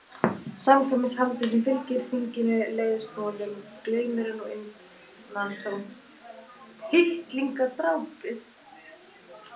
Samkvæmishaldið sem fylgir þinginu leiðist honum, glaumurinn og innantómt tittlingadrápið.